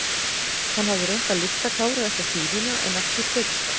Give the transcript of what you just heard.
Hann hafði reynt að lyfta Kára upp á síðuna en ekki tekist það.